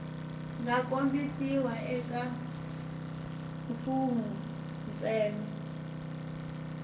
nga kombisiwa eka mfugnho ntsena